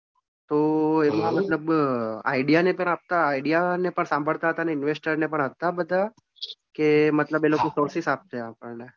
તો એનો મતલબ idea નહિતર આપતા idea ને પણ સાંભળતા અને investor ને પણ આપતા બધા કે મતલબ એ લોકો courses આપતા આપણને.